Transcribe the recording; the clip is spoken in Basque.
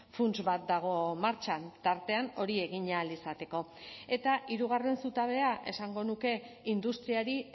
funts bat dago martxan tartean hori egin ahal izateko eta hirugarren zutabea esango nuke industriari